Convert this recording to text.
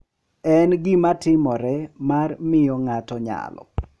En gima timore mar miyo ng’ato nyalo.